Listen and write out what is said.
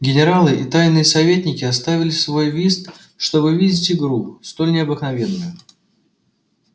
генералы и тайные советники оставили свой вист чтоб видеть игру столь необыкновенную